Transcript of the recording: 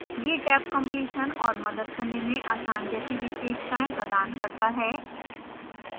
यह tabcompletion और मदद करने में आसान जैसी विशेषताएं प्रदान करता है